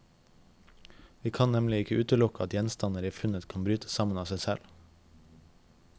Vi kan nemlig ikke utelukke at gjenstander i funnet kan bryte sammen av seg selv.